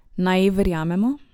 Naj ji verjamemo?